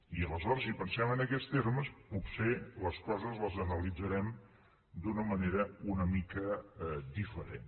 i aleshores si pensem en aquests termes potser les coses les analitzarem d’una manera una mica diferent